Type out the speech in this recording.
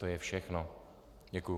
To je všechno, děkuji.